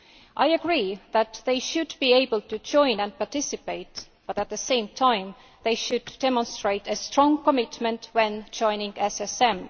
I agree that they should be able to join and participate, but at the same time they should demonstrate a strong commitment when joining the SSM.